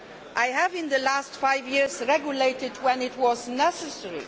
I have, in the last five years, regulated when it was necessary.